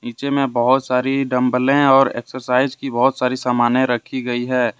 पीछे में बहोत सारी डम्बलें और एक्सरसाइज की बहोत सारी समानें रखी गई है।